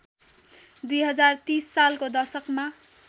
२०३० सालको दशकमा